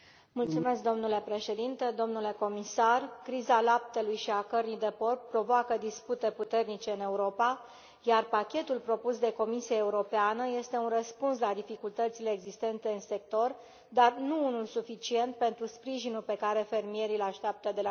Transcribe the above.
Domnule președinte, domnule comisar, criza laptelui și a cărnii de porc provoacă dispute puternice în Europa, iar pachetul propus de Comisia Europeană este un răspuns la dificultățile existente în sector, dar nu unul suficient pentru sprijinul pe care fermierii îl așteaptă de la noi.